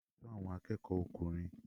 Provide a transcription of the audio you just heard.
Olú ni alábòójútó àwọn akẹ́kọ̀ọ́ ọkùnrin.